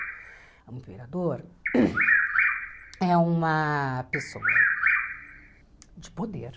O imperador hum é uma pessoa de poder.